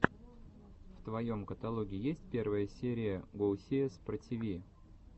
в твоем каталоге есть первая серия гоусиэс про тиви